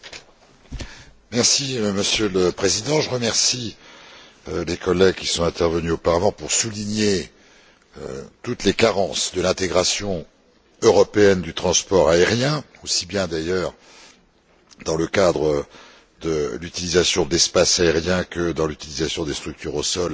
Monsieur le Président, je remercie les collègues qui sont intervenus auparavant pour souligner toutes les carences de l'intégration européenne du transport aérien, aussi bien d'ailleurs dans le cadre de l'utilisation de l'espace aérien que de l'utilisation des structures au sol et des réseaux commerciaux.